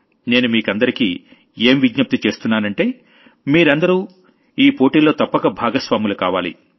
నేను మీకందరికీ ఏం అప్పీల్ చేస్తున్నానంటే మీరందరూ ఈ కాంపిటీషన్ లో తప్పక భాగస్వాములు కావాలి